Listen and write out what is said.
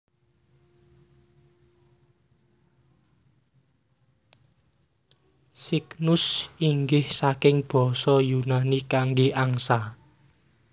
Cygnus inggih saking basa Yunani kangge angsa